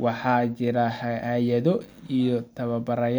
waxaana jira hay’ado iyo tababarayaal